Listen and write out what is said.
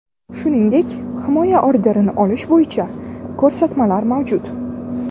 Shuningdek, himoya orderini olish bo‘yicha ko‘rsatmalar mavjud.